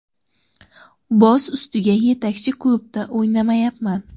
Boz ustiga yetakchi klubda o‘ynamayapman.